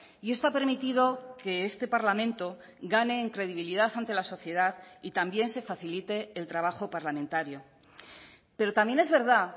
y esto ha permitido que este parlamento gane en credibilidad ante la sociedad y también se facilite el trabajo parlamentario pero también es verdad